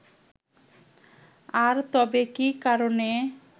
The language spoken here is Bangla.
আর তবে কি কারণে